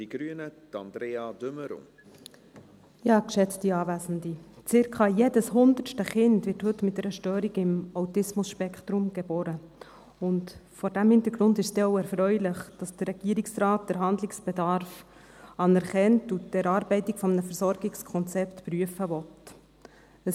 Circa jedes hundertste Kind wird heute mit einer Störung im Autismus-Spektrum geboren, und vor diesem Hintergrund ist es denn auch erfreulich, dass der Regierungsrat den Handlungsbedarf anerkennt und die Erarbeitung eines Versorgungskonzepts prüfen will.